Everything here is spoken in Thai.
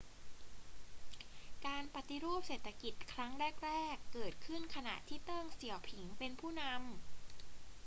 การปฏิรูปเศรษฐกิจครั้งแรก ๆ เกิดขึ้นขณะที่เติ้ง เสี่ยวผิงเป็นผู้นำ